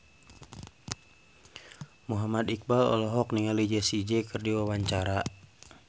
Muhammad Iqbal olohok ningali Jessie J keur diwawancara